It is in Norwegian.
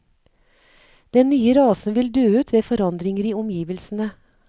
Den nye rasen vil dø ut ved forandringer i omgivelsene.